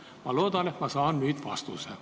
Ma loodan, et ma saan nüüd vastuse.